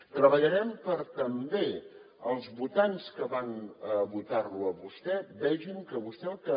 treballarem també perquè els votants que van votar lo a vostè vegin que vostè el que